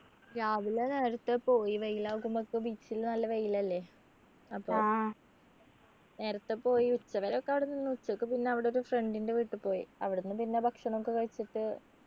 രാവിലെ നേരത്തെ പോയി വെയിൽ ആകുമ്പക്ക് beach ല് നല്ല വെയിൽ അല്ലെ അപ്പൊ നേരത്തെ പോയി ഉച്ച വരെ ഒക്കെ അവിടെ നിന്നു ഉച്ചക്ക് പിന്നെ അവിടൊരു friend ൻ്റെ വീട്ടി പോയി അവിടെന്ന് പിന്നെ ഭക്ഷണൊക്കെ കഴിച്ചിട്ട്